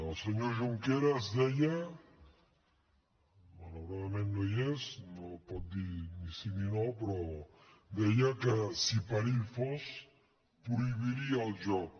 el senyor junqueras deia malauradament no hi és no pot dir ni sí ni no que si per ell fos prohibiria el joc